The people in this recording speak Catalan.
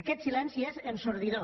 aquest silenci és ensordidor